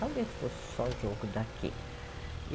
Talvez fosse só jogo daqui.